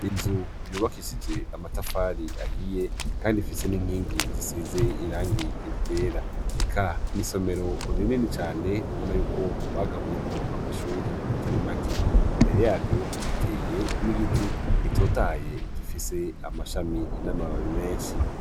inzu yubakishije amatafari ahiye kandi ifise n'inkingi zisize irangi ryera eka iisomero rinini cyane ubona y'uko bagabuyemwo amashuri atari make imbere yaryo hateye n'igiti gitotahaye gifise amashami n'amababi menshi